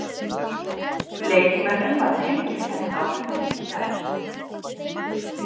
Leikmönnum var tilkynnt þetta á fundi í gær.